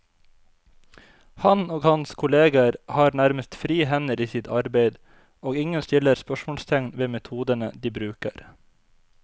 Han og hans kolleger har nærmest frie hender i sitt arbeid, og ingen stiller spørsmålstegn ved metodene de bruker.